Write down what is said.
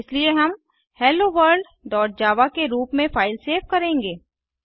इसलिए हम hello world dot java के रूप में फ़ाइल सेव करेंगे